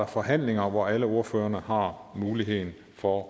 forhandling hvor alle ordførerne har muligheden for